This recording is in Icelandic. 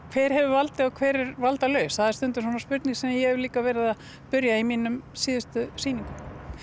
hver hefur valdið og hver er valdalaus það er spurning sem ég hef líka verið að spyrja í mínum sýningum